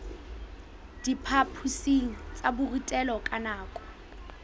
diphaphosing tsa borutelo ka nako